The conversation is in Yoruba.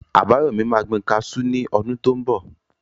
Àbáyọ̀mí yóò gbin kaasú ní ọdún tó n bọ̀